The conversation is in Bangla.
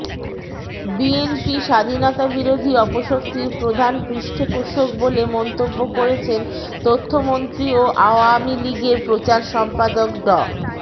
বিএনপি স্বাধীনতাবিরোধী অপশক্তির প্রধান পৃষ্ঠপোষক বলে মন্তব্য করেছেন তথ্যমন্ত্রী ও আওয়ামী লীগের প্রচার সম্পাদক ড